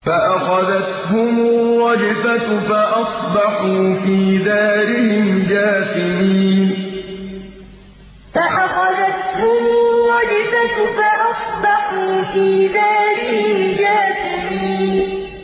فَأَخَذَتْهُمُ الرَّجْفَةُ فَأَصْبَحُوا فِي دَارِهِمْ جَاثِمِينَ فَأَخَذَتْهُمُ الرَّجْفَةُ فَأَصْبَحُوا فِي دَارِهِمْ جَاثِمِينَ